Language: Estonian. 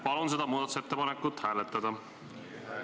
Palun seda muudatusettepanekut hääletada!